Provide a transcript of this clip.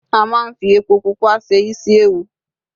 a ma n fi epo pupa se isi ẹwù